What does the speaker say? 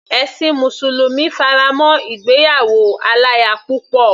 Ẹ̀sin mùsùlùmí fará mọ́ ìgbéyàwó aláya púpọ̀.